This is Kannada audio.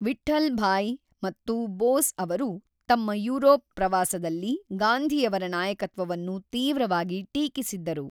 ವಿಠ್ಠಲ್‌ಭಾಯ್ ಮತ್ತು ಬೋಸ್ ಅವರು ತಮ್ಮ ಯುರೋಪ್ ಪ್ರವಾಸದಲ್ಲಿ ಗಾಂಧಿಯವರ ನಾಯಕತ್ವವನ್ನು ತೀವ್ರವಾಗಿ ಟೀಕಿಸಿದ್ದರು.